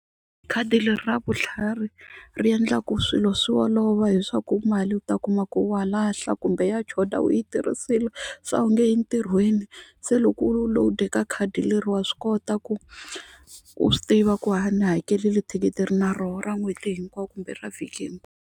Khadi leri ra vutlhari ri endla ku swilo swi olova hi swaku mali u ta kuma ku wa lahla kumbe ya choda u yi tirhisile se a wu nge yi entirhweni se loko u lowudeka khadi leri wa swi kota ku u swi tiva ku ha ni hakerile thikithi ni na roho ra n'hweti hinkwayo kumbe ra vhiki.